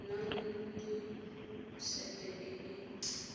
nang le sete e e